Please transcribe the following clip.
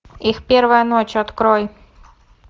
их первая ночь открой